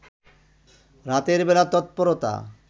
রাতের বেলা তৎপরতা